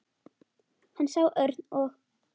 Hann sá Örn og